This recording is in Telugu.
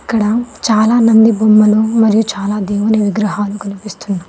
ఇక్కడ చాలా నంది బొమ్మలు మరియు చాలా దేవుని విగ్రహలు కనిపిస్తున్నాయి.